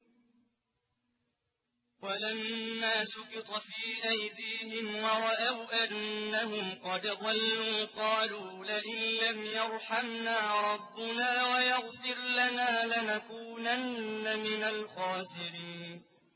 وَلَمَّا سُقِطَ فِي أَيْدِيهِمْ وَرَأَوْا أَنَّهُمْ قَدْ ضَلُّوا قَالُوا لَئِن لَّمْ يَرْحَمْنَا رَبُّنَا وَيَغْفِرْ لَنَا لَنَكُونَنَّ مِنَ الْخَاسِرِينَ